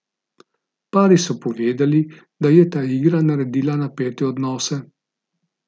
Pari so povedali, da je ta igra naredila napete odnose.